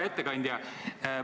Hea ettekandja!